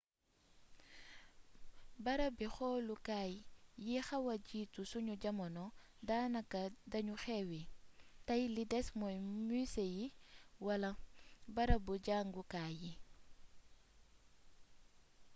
barabi xoolukaay yi xawa jiitu sunu jamono daanaka dañu xewwi tay li des mooy muse yi wala barabi jàngukaay yi